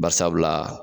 Barisabula